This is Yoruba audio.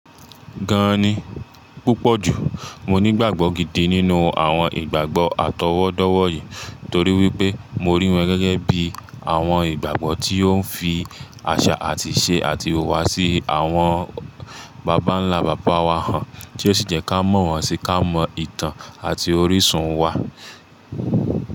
Gàn ní púpọ̀ jù, mo nígbàgbọ́ gidi nínú àwọn ìgbàgbọ́ àtọwọ́dọ́wọ̀ yìí torí wípé mo rí wọn gẹ́gẹ́ bí àwọn ìgbàgbọ́ tí ó ń fi àṣà àti ìṣe àti ìhùwàsí àwọn bàbá ńlá bàbá wa hàn, tí ó sì jẹ́ ká mọ̀ wọ́n sí ká mọ ìtàn àti orísun wa.